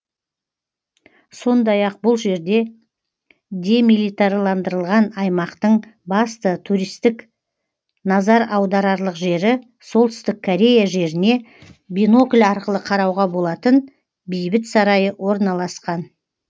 сондай ақ бұл жерде демилитарландырылған аймақтың басты туристтік назар аударарлық жері солтүстік корея жеріне бинокль арқылы қарауға болатын бейбіт сарайы орналасқан